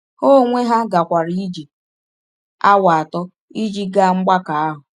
Ha onwe ha gakwara ije awa atọ ịjị gaa mgbakọ ahụ.